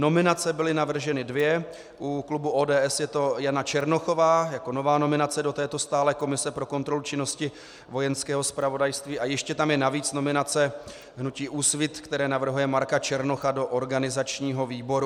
Nominace byly navrženy dvě - u klubu ODS je to Jana Černochová jako nová nominace do této stálé komise pro kontrolu činnosti Vojenského zpravodajství a ještě tam je navíc nominace hnutí Úsvit, které navrhuje Marka Černocha do organizačního výboru.